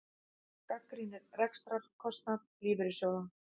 Gagnrýnir rekstrarkostnað lífeyrissjóða